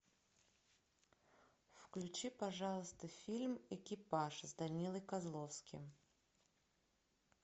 включи пожалуйста фильм экипаж с данилой козловским